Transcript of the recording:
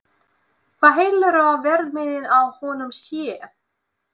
Hvað heldurðu að verðmiðinn á honum sé?